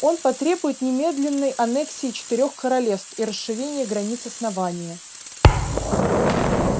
он потребует немедленной аннексии четырёх королевств и расширения границ основания